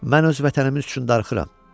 Mən öz vətənim üçün darıxıram.